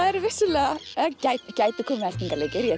er vissulega eða gæti komið